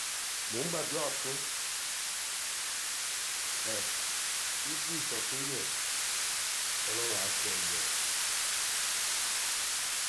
mò ń gbádùá fún ẹ ìdris òkínyẹ ọlọ́run àá kó ẹ yọ o